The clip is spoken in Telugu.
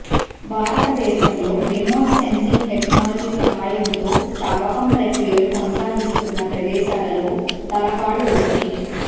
భారతదేశంలో రిమోట్ సెన్సింగ్ టెక్నాలజీ సహాయంతో తవ్వకం ప్రక్రియలు కొనసాగిస్తున్న ప్రదేశాలలో తలకాడు ఒకటి